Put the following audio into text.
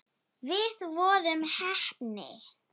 Við vorum heppni.